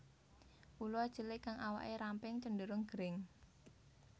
Ula cilik kang awake ramping cenderung gering